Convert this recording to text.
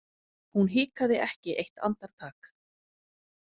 Hún hikaði ekki eitt andartak.